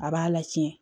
A b'a la tiɲɛ